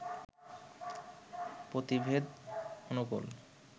পতিভেদ অনুকূল